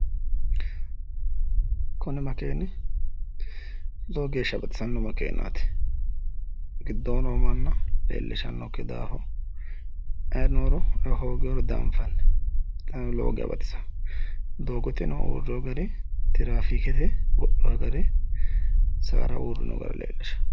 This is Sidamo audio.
Kuni makeeni lowo geeshsha baxisanno makeenaati. Giddo noo manna leellishannokki daafo ayi nooro hooginoro dianfanni. Xaano lowo geya baxisawo. Doogoteno uurrewo gari tiraafiikete go’llawo gari sa’ara uurrino gari leellishawo.